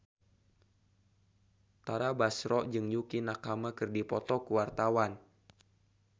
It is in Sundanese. Tara Basro jeung Yukie Nakama keur dipoto ku wartawan